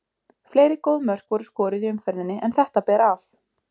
Fleiri góð mörk voru skoruð í umferðinni en þetta ber af.